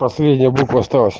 последняя буква осталась